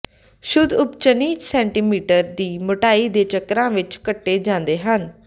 ਸ਼ੁੱਧ ਉਬਚਨੀ ਸੈਂਟੀਮੀਟਰ ਦੀ ਮੋਟਾਈ ਦੇ ਚੱਕਰਾਂ ਵਿਚ ਕੱਟੇ ਜਾਂਦੇ ਹਨ